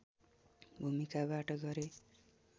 भूमिकाबाट गरे